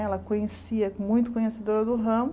Ela conhecia, muito conhecedora do ramo.